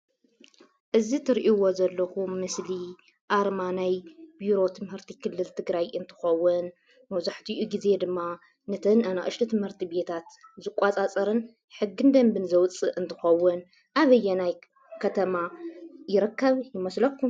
እዚ ትሪእይዎ ዘለኹም ምስሊ ኣርማ ናይ ቢሮ ትምህርቲ ክልል ትግራይ እንትኸውን መብዛሕትኡ ጊዜ ድማ ነተን ኣናእሽተይ ቤት ትምህርታት ዝቆፃፀርን ሕግን ደንብን ዘውፅእ እንትኸውን ኣበየናይ ከተማ ይርከብ ይመስለኩም?